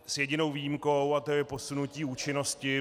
S jedinou výjimkou a tou je posunutí účinnosti.